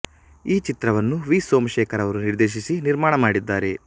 ಈ ಚಿತ್ರವನ್ನು ವಿ ಸೋಮಶೇಖರ್ ಅವರು ನಿರ್ದೇಶಿಸಿ ನಿರ್ಮಾಣ ಮಾಡಿದ್ದಾರೆ